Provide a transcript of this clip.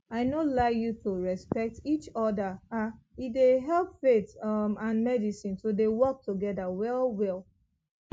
i no lie you to respect each other ah dey help faith um and medicine to dey work together well well